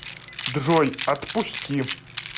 джой отпусти